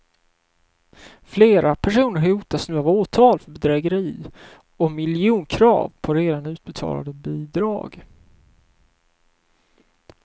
Flera personer hotas nu av åtal för bedrägeri och miljonkrav på redan utbetalade bidrag.